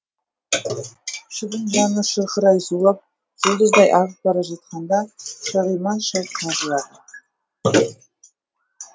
шыбын жаны шырқырай зулап жұлдыздай ағып бара жатқанда шағиман шал қағып алды